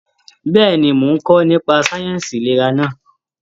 Bẹ́ẹ̀ni, mo n kọ nípa sáyẹnsì ìlera náà.